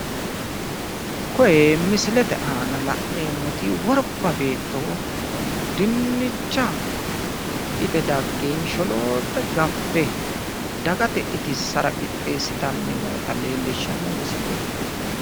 Koye misilete aana la'neemmoti worba beetto Dinnicha hidhite dagge sholoolte gaffe dagate itissara qixxeessitanni noota leellishshanno misileeti.